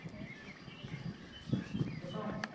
ਕਿਥੋਂ